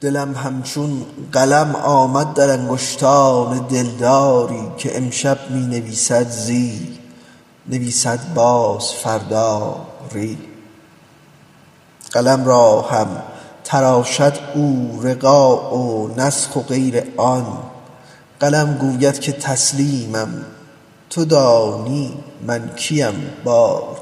دلم همچون قلم آمد در انگشتان دلداری که امشب می نویسد زی نویسد باز فردا ری قلم را هم تراشد او رقاع و نسخ و غیر آن قلم گوید که تسلیمم تو دانی من کیم باری